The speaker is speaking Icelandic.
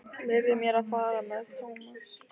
Leyfðu mér að fara með Thomas.